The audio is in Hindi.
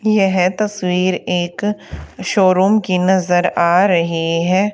यह तस्वीर एक शोरूम की नजर आ रही है।